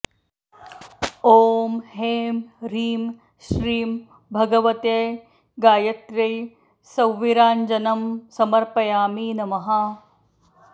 ॐ ऐं ह्रीं श्रीं भगवत्यै गायत्र्यै सौवीराञ्जनं समर्पयामि नमः